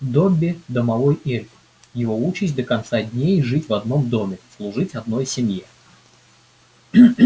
добби домовой эльф его участь до конца дней жить в одном доме служить одной семье